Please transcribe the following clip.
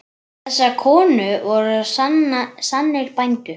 Þessar konur voru sannir bændur.